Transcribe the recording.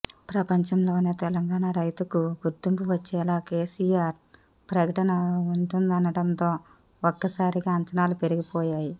ప్రపంచంలోనే తెలంగాణ రైతుకు గుర్తింపు వచ్చేలా కేసియార్ ప్రకటన ఉంటుందనడంతో ఒక్కసారిగా అంచనాలు పెరిగిపోయాయి